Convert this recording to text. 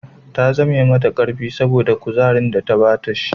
Ta zame mata karfi saboda kuzarin da ta sha